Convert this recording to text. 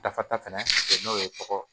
Dafa ta fɛnɛ n'o ye tɔgɔ